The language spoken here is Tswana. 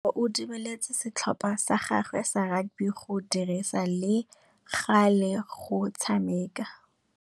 Tebogô o dumeletse setlhopha sa gagwe sa rakabi go dirisa le galê go tshameka.